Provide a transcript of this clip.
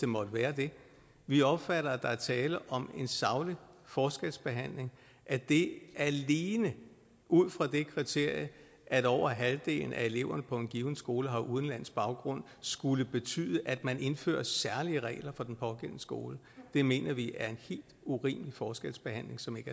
måtte være det vi opfatter at der er tale om en saglig forskelsbehandling at det alene ud fra det kriterie at over halvdelen af eleverne på en given skole har udenlandsk baggrund skulle betyde at man indfører særlige regler for den pågældende skole mener vi er en helt urimelig forskelsbehandling som